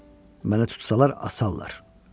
Məni tutsalar asarlar.